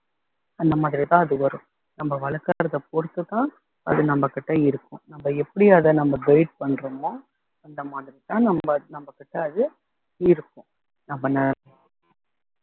அந்த மாதிரிதான் அது வரும் நம்ம வளர்க்கிறதை பொறுத்துதான் அது நம்ம கிட்ட இருக்கும் நம்ம எப்படி அதை நம்ம guide பண்றமோ அந்த மாதிரிதான் நம்ம நம்மகிட்ட அது இருக்கும் நம்பள